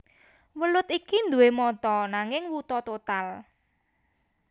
Welut iki nduwé mata nanging wuta total